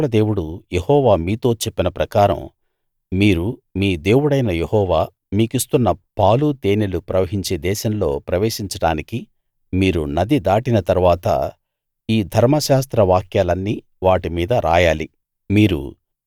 మీ పితరుల దేవుడు యెహోవా మీతో చెప్పిన ప్రకారం మీరు మీ దేవుడైన యెహోవా మీకిస్తున్న పాలు తేనెలు ప్రవహించే దేశంలో ప్రవేశించడానికి మీరు నది దాటిన తరువాత ఈ ధర్మశాస్త్ర వాక్యాలన్నీ వాటి మీద రాయాలి